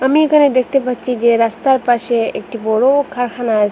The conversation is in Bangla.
আমি এখানে দেখতে পাচ্ছি যে রাস্তার পাশে একটি বড় কারখানা আসে।